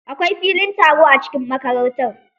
Akwai filin taro a cikin makarantar.